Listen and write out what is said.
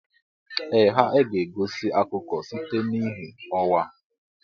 Ee ha e ga-egosi akụkọ site n'ìhè ọnwa.